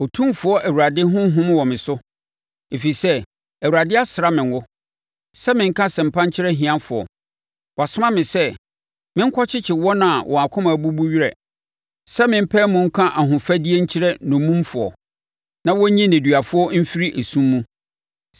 Otumfoɔ Awurade Honhom wɔ me so, ɛfiri sɛ, Awurade asra me ngo sɛ menka asɛmpa nkyerɛ ahiafoɔ. Wasoma me sɛ, menkɔkyekye wɔn a wɔn akoma abubu werɛ, sɛ me mpae mu nka ahofadie nkyerɛ nnommumfoɔ na wɔnyi nneduafoɔ mfiri esum mu,